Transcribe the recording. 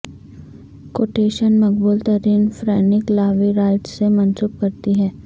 quotation مقبول ترین Frank Lloyd Wright سے منسوب کرتی ہیں